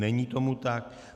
Není tomu tak.